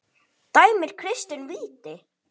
Dæmir Kristinn víti?